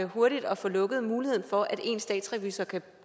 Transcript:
hurtigt at få lukket muligheden for at én statsrevisor kan